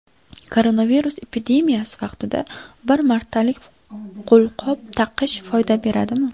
Koronavirus epidemiyasi vaqtida bir martalik qo‘lqop taqish foyda beradimi?.